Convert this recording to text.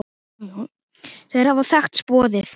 Þeir hafa þekkst boðið.